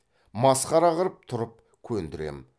масқара қып тұрып көндірем